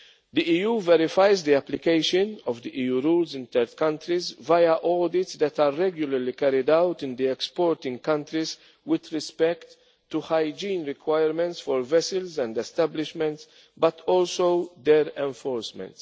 to the EU. The EU verifies the application of the EU rules in third countries via audits that are regularly carried out in the exporting countries with respect to hygiene requirements for vessels and establishments, but also their enforcement.